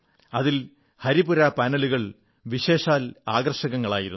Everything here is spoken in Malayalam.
അതിൽ ഹരിപുരാ പാനലുകൾ വിശേഷാൽ ആകർഷകങ്ങളായിരുന്നു